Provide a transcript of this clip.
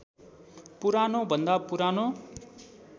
पुरानो भन्दा पुरानो